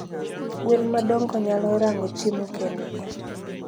Gwen madongo nyalo rango chiemo kendgi